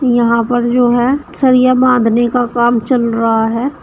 यहां पर जो है सरिया बांधने का काम चल रहा है।